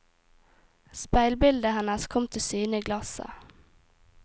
Speilbildet hennes kom til syne i glasset.